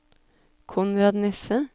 Konrad Nesse